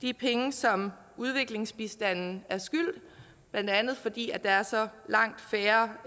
de penge som udviklingsbistanden skylder blandt andet fordi der er så langt færre